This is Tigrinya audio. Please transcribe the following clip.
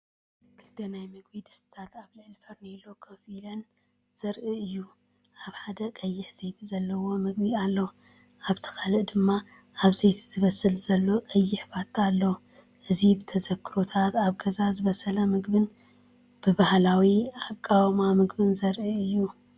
ክልተ ናይ ምግቢ ድስትታት ኣብ ልዕሊ ፋርኔሎ ኮፍ ኢለን ዘርኢ እዩ። ኣብ ሓደ፡ቀይሕ ዘይቲ ዘለዎ ምግቢ ኣሎ፤ ኣብቲ ካልእ ድማ ኣብ ዘይቲ ዝብሰል ዘሎ ቀይሕ ፋታ ኣሎ። እዚብተዘክሮታት ኣብ ገዛ ዝበሰለ ምግብን ባህላዊ ኣቃውማ ምግብን ዘርኢ እዩ።